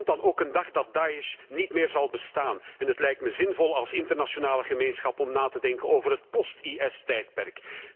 Er komt dan ook een dag dat Da'esh niet meer zal bestaan en het lijkt me zinvol als internationale gemeenschap om na te denken over het post IS tijdperk.